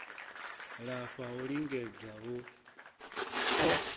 lafha ha u lingedza hu